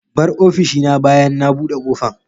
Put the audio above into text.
Bar ofishina bayan na buɗe kofan.